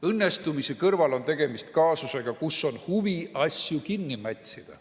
Õnnestumiste kõrval on tegemist kaasusega, kus on huvi asju kinni mätsida.